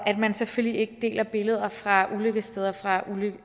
man selvfølgelig ikke deler billeder fra ulykkessteder og